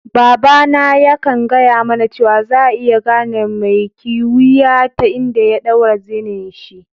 Baba na ya kan gaya mana cewa, za'a iya gane mai kiwiya ta inda ya daura zenin'shi.